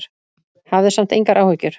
Hafðu samt engar áhyggjur.